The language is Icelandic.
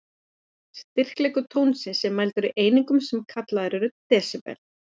Styrkleiki tónsins er mældur í einingum, sem kallaðar eru desibel.